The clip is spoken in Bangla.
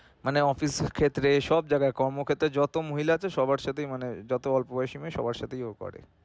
মানে অফিসের ক্ষেত্রে সবজায়গায় কর্মক্ষেত্রে যত মহিলা আছে সবার সাথেই মানে যত অল্প বয়সী মেয়ে সবার সাথেই ও করে